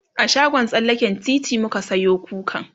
a shagon tsallaken titi muka Sayo kukan